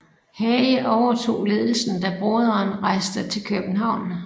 Hage overtog ledelsen da broderen rejste til København